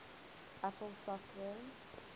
apple software